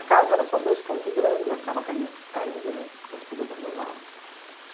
A casa era só dois cômodos grandes, mas estava caindo caindo, né, porque estava tudo abandonado.